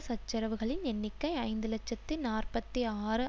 சச்சரவுகளின் எண்ணிக்கை ஐந்து இலட்சத்தி நாற்பத்தி ஆறு